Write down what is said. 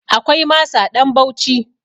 Akwai masa ɗan Bauci.